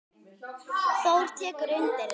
Þór tekur undir þetta.